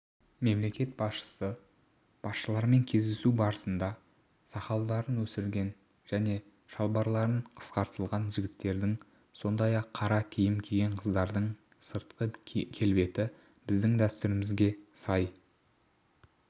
мемлекет басшысы басшыларымен кездесу барысында сақалдарын өсірген және шалбарлары қысқартылған жігіттердің сондай-ақ қара киім киген қыздардың сыртқы келбеті біздің дәстүрімізге сай